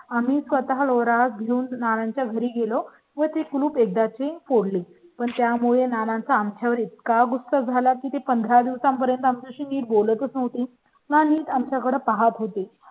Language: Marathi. आम्ही स्वतः लोरा घेऊन नानांच्या घरी गेलो व ते कुलूप एकदा ची फोडली पण त्यामुळे नानांचा आमच्या वर इतका गुस्तख झाला तेपंधरा दिवसांपर्यंत आमच्या शी नीट बोलत मोठी नाही आमच्याकडे पाहत होते